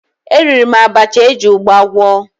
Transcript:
Eriri m abacha eji ụgba gwọ